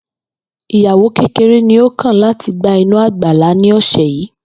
Ìyàwó kéreré ni ó kàn láti gba inú àgbàlá ní òsè̩ yìí